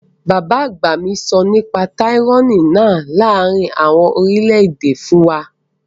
Bàbá òbí mi sọ nípa tyranny náà láàrin àwọn orílẹ̀-èdè fún wa